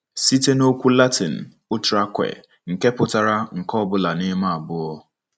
Site na okwu Latịn utraque, nke pụtara "nke ọ bụla n'ime abụọ."